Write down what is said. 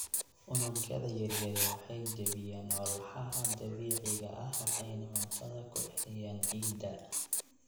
Unugyada yaryari waxay jebiyaan walxaha dabiiciga ah waxayna cuntada ku celiyaan ciidda.